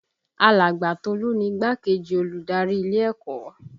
Alàgbà Tolu ni igbá-kejì olùdarí ilé ẹ̀kọ́